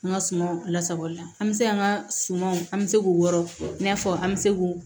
An ka sumanw lasabali an bɛ se an ka sumanw an bɛ se k'o wɔrɔ in n'a fɔ an bɛ se k'o